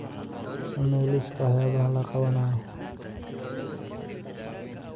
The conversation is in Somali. samee liiska waxyaabaha la qabanayo